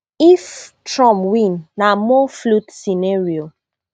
if trump win na more fluid scenario